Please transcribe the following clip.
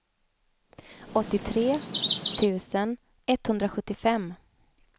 åttiotre tusen etthundrasjuttiofem